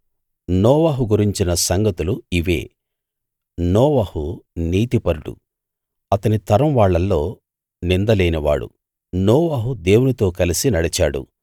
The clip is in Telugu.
నోవహు గురించిన సంగతులు ఇవే నోవహు నీతిపరుడు అతని తరం వాళ్ళల్లో నింద లేనివాడు నోవహు దేవునితో కలసి నడిచాడు